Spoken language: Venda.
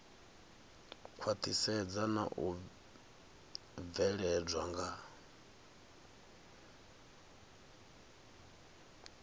khwaṱhisedzwa na u bveledzwa nga